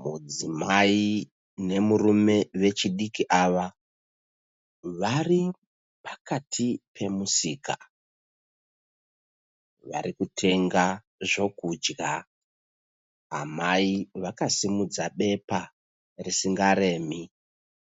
Mudzimai nemurume vechidiki ava vari pakati pemusika. Vari kutenga zvokudya. Amai vakasimudza pepa risingaremi,